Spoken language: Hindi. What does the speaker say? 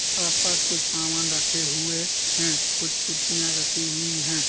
आस-पास कुछ सामान रखे हुए हैं। कुछ कुर्सियां रखी हुई हैं।